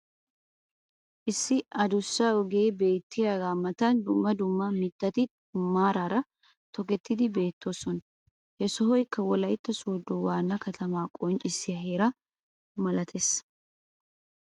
issi adussa ogee beetiyaaga matan dumma dumma mitatti maaraara tokkettidi beetoosona. ha sohoykka wolaytta sooddo waana kattamaa qonccissiyaa heera malatees.